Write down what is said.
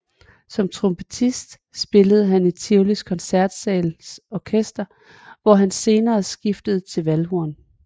Som trompetist spillede han i Tivolis Koncertsals Orkester hvor han senere skiftede til valdhorn